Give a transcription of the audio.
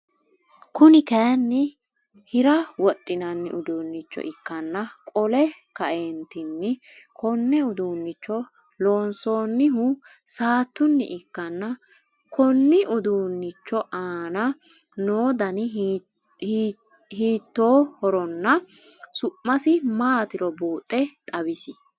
Kuni kaayiinni Hira wodhinanni uduunnicho ikkanna qole kaeentinni konne uduunnicho loonsoinihu saattunni ikkanna Konni uduunnicho aana noo Dani hiitoihorinna su'misi maatiro buuxe xawisie?